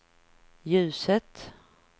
ljuset